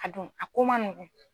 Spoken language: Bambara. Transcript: A dun a ko man nɔgɔ.